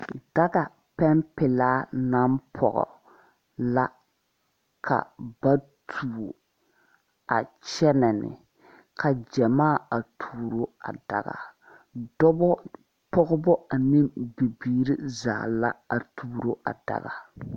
Daga pɛn pelaa naŋ pɔge la ka ba tuo a kyɛnɛ ne ka gyamaa a tuoro a daga dɔbɔ pɔgebɔ ane bibiire zaa la a tuoro a daga.